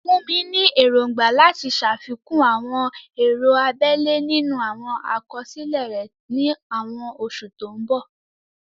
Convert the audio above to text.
Funmi ní èrògbà láti ṣàfikún àwọn ọ̀rọ̀ abẹ́lẹ̀ nínú àwọn àkọsílẹ̀ rẹ̀ ní àwọn oṣù tó ń bọ̀.